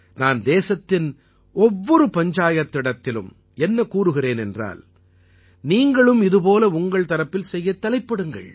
நான் தேசத்தின் ஒவ்வொரு பஞ்சாயத்திடத்திலும் என்ன கூறுகிறேன் என்றால் நீங்களும் இதுபோல உங்கள் தரப்பில் செய்யத் தலைப்படுங்கள்